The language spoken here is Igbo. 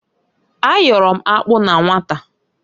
A yọrọ m akpụ na nwata.